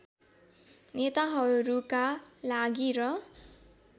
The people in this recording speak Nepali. नेताहरूका लागि र